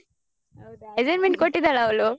ಹೌದಾ assignment ಕೊಟ್ಟಿದ್ದಾಳ ಅವಳು?